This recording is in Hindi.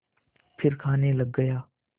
फिर खाने लग गया